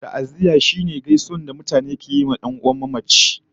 Ta'aziyya ita ce gaisuwa da jajen da mutane suke zuwa yi wa 'yan'uwan mamaci